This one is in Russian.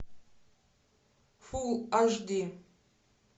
фулл аш ди